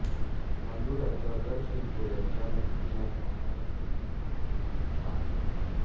तांदुळाच्या अगर शिरगोळयाच्या मुकटीला तांबडा रंग देऊन गुलाल बनवतात